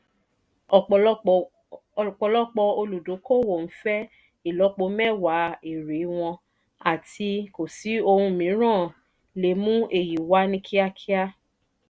ọ̀pọ́lọ́pọ̀ olùdókòwò nfẹ́ ìlọ́po mẹ́wa èèrè wọn àti kò sí ohun mìíràn le è mú èyí wá ní kíákíá